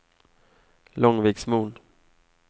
Långviksmon